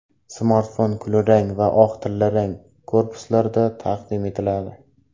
Smartfon kulrang, oq va tillarang korpuslarda taqdim etiladi.